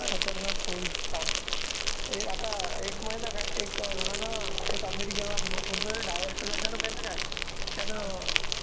खतरनाक होईल काम हे आता एक माहित आहे काय एक घराणं एक अमेरिकेला कोणता तरी director आहे माहित आहे काय त्यानं